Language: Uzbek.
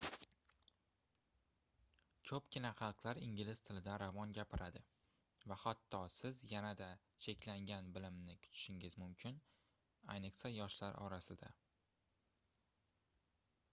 koʻpgina xalqlar ingliz tilida ravon gapiradi va hatto siz yanada cheklangan bilimni kutishingiz mumkin ayniqsa yoshlar orasida